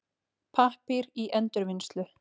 Pappír í endurvinnslu.